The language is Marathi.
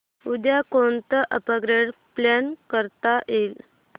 उद्या कोणतं अपग्रेड प्लॅन करता येईल